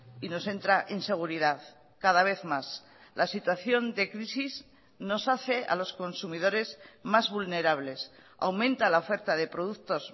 y nos entra inseguridad cada vez más la situación de crisis nos hace a los consumidores más vulnerables aumenta la oferta de productos